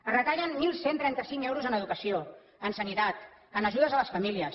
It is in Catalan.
es retallen onze trenta cinc euros en educació en sanitat en ajudes a les famílies